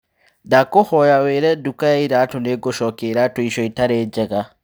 Ndakũhoya wiire nduka ya iratũ nĩngũcokia iratũ icio itarĩ njega